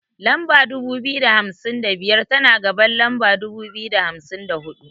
Lamba dubu biyu da hamsin da biyar, tana gaban lamba dubu biyu da hamsin da huɗu.